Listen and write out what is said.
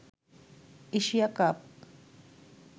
Asia cup